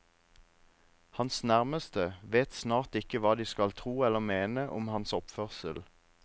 Hans nærmeste vet snart ikke hva de skal tro eller mene om hans oppførsel.